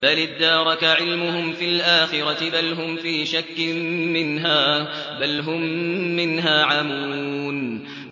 بَلِ ادَّارَكَ عِلْمُهُمْ فِي الْآخِرَةِ ۚ بَلْ هُمْ فِي شَكٍّ مِّنْهَا ۖ بَلْ هُم مِّنْهَا عَمُونَ